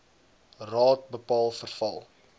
raad bepaal verval